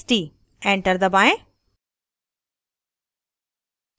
enter दबाएं